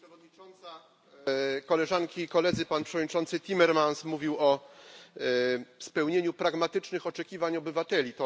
Pani Przewodnicząca! Koleżanki i Koledzy! Przewodniczący Timmermans mówił o spełnieniu pragmatycznych oczekiwań obywateli.